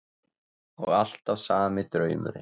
Og alltaf sami draumurinn.